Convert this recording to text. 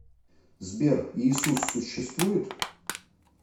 сбер иисус существует